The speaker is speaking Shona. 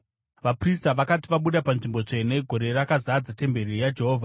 Vaprista vakati vabuda paNzvimbo Tsvene, gore rakazadza temberi yaJehovha.